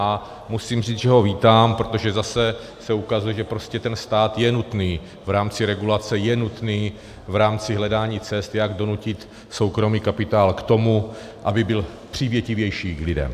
A musím říct, že ho vítám, protože zase se ukazuje, že prostě ten stát je nutný v rámci regulace, je nutný v rámci hledání cest, jak donutit soukromý kapitál k tomu, aby byl přívětivější k lidem.